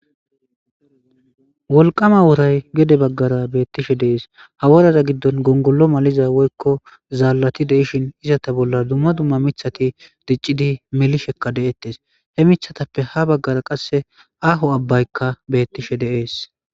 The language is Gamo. wolqama woray gede baggara beettishe deees haworara giddon gongolo maliza woykko zaalalati deishin izata bolla dumma dumma mithati diccidi melishekka de7ettes he mithatappe ha baggara qasse aaho abbaykka beettishe deees